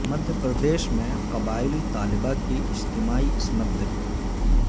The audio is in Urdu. مدھیہ پردیش میں قبائلی طالبہ کی اجتماعی عصمت دری